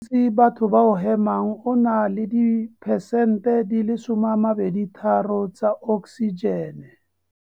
Mowa o gantsi batho ba o hemang o na le diphesente di le 23 tsa oksijene.